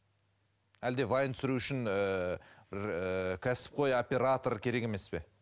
әлде вайн түсіру үшін ііі бір кәсіпқой оператор керек емес пе